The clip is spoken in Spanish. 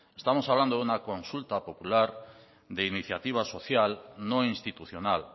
estamos hablando de una consulta popular de iniciativa social no institucional